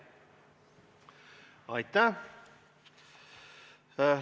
Aitäh!